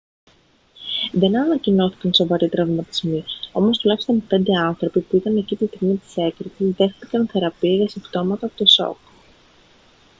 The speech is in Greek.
δεν ανακοινώθηκαν σοβαροί τραυματισμοί όμως τουλάχιστον πέντε άνθρωποι που ήταν εκεί τη στιγμή της έκρηξης δέχθηκαν θεραπεία για συμπτώματα από το σοκ